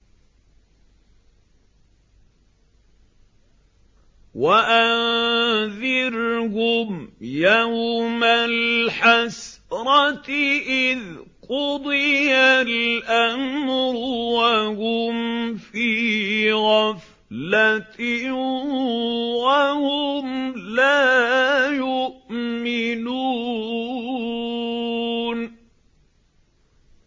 وَأَنذِرْهُمْ يَوْمَ الْحَسْرَةِ إِذْ قُضِيَ الْأَمْرُ وَهُمْ فِي غَفْلَةٍ وَهُمْ لَا يُؤْمِنُونَ